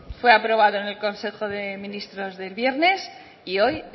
fue aprobado en el consejo de ministros del viernes y hoy